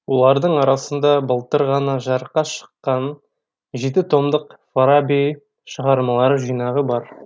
олардың арасында былтыр ғана жарыққа шыққан жеті томдық фараби шығармалар жинағы бар